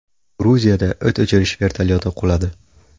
Gruziyada o‘t o‘chirish vertolyoti quladi.